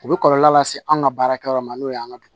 U bɛ kɔlɔlɔ lase an ka baarakɛyɔrɔ ma n'o y'an ka dugu